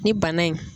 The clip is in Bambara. Ni bana in